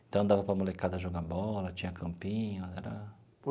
Então, dava para molecada jogar bola, tinha campinho era.